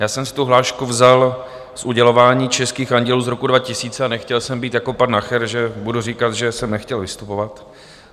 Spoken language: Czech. Já jsem si tu hlášku vzal z udělování českých Andělů z roku 2000 a nechtěl jsem být jako pan Nacher, že budu říkat, že jsem nechtěl vystupovat.